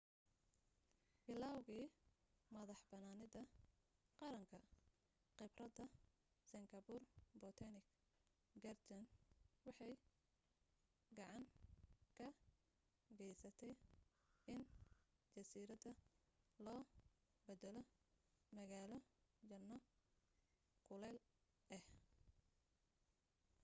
bilowgii madaxbanaanida qaranka khibradda singapore botanic gardens waxay gacan ka gaysatay in jasiiradda loo beddelo magaalo janno kuleyl ah